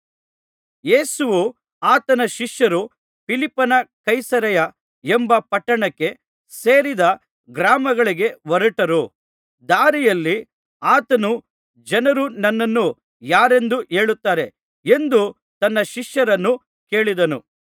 ಯೇಸುವೂ ಆತನ ಶಿಷ್ಯರೂ ಫಿಲಿಪ್ಪನ ಕೈಸರೈಯ ಎಂಬ ಪಟ್ಟಣಕ್ಕೆ ಸೇರಿದ ಗ್ರಾಮಗಳಿಗೆ ಹೊರಟರು ದಾರಿಯಲ್ಲಿ ಆತನು ಜನರು ನನ್ನನ್ನು ಯಾರೆಂದು ಹೇಳುತ್ತಾರೆ ಎಂದು ತನ್ನ ಶಿಷ್ಯರನ್ನು ಕೇಳಿದನು